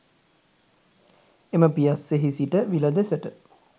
එම පියස්සෙහි සිට විල දෙසට